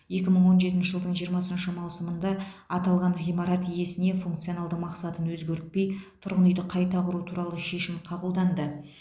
екі мың он жетінші жылдың жиырмасыншы маусымында аталған ғимарат иесіне функционалды мақсатын өзгертпей тұрғын үйді қайта құру туралы шешім қабылданды